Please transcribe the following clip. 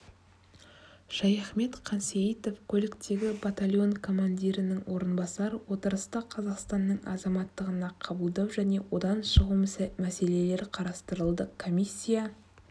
шаяхмет қансейітов көліктегі батальон командирінің орынбасары отырыста қазақстанның азаматтығына қабылдау және одан шығу мәселелері қарастырылды комиссия